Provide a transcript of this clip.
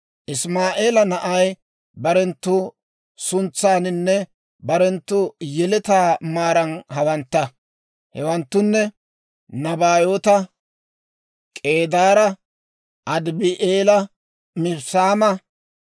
Isimaa'eela naanay barenttu suntsaaninne barenttu yeletaa maaran hawantta; hewanttunne: Nabaayoota, K'eedaara, Adibi'eela, Mibssaama,